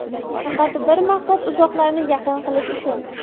Faqat bir maqsad uzoqlarni yaqin qilish uchun.